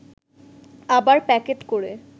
আবার প্যাকেট করে